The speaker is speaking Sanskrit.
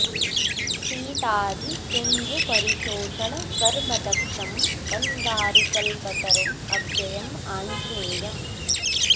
सीताधि सिंधु परिशोषण कर्म दक्षं वंदारु कल्पतरुं अव्ययं आञ्ज्नेयम्